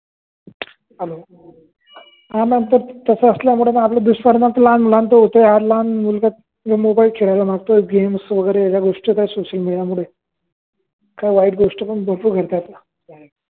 hello, हा ma'am काय तस असल्या मुळे दुष्परिणाम तर लहान मुलांच होतय आणि लहान मुल तर मोबाईल खेळायला मांगते गेम्स वगेरे ह्या गोष्टी सोशल मेडिया मधे ह्या वाईट गोष्टी पण बगतो